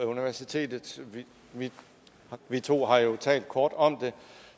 universitetet vi to har jo talt kort om det